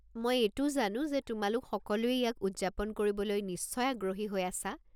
মই এইটোও জানো যে তোমালোক সকলোৱে ইয়াক উদযাপন কৰিবলৈ নিশ্চয় আগ্ৰহী হৈ আছা।